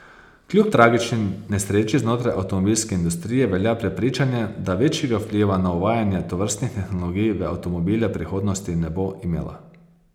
Kljub tragični nesreči znotraj avtomobilske industrije velja prepričanje, da večjega vpliva na uvajanje tovrstnih tehnologij v avtomobile prihodnosti ne bo imela.